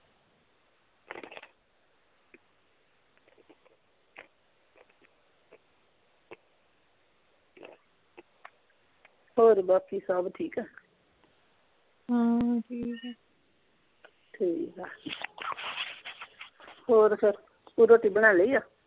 ਹੋਰ ਬਾਕੀ ਸਭ ਠੀਕ ਆ ਹਾਂ ਠੀਕ ਆ ਠੀਕ ਆ ਹੋਰ ਫੇਰ ਤੂੰ ਰੋਟੀ ਬਣਾ ਲਈ ਆ